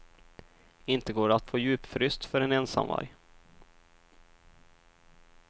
Inte går det att få djupfryst för en ensamvarg.